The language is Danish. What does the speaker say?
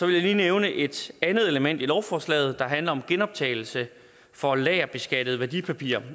jeg lige nævne et andet element i lovforslaget der handler om genoptagelse for lagerbeskattede værdipapirer